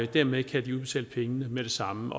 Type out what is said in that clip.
dermed kan de udbetale pengene med det samme